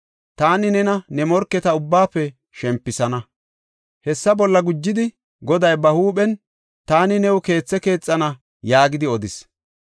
Taani nena ne morketa ubbaafe shempisana. “ ‘Hessa bolla gujidi Goday ba huuphen taani new keethe keexana yaagidi odis.